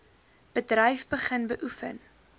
bedryf begin beoefen